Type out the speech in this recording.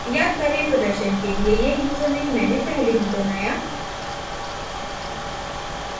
याद करें प्रदर्शन के लिए यह यूज़रनेम मैंने पहले ही बनाया